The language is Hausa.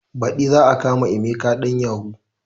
Baɗi za a kama emeka ɗan yahu